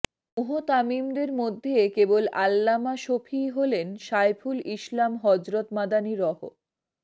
মুহতামিমদের মধ্যে কেবল আল্লামা শফীই হলেন শায়খুল ইসলাম হযরত মাদানী রহ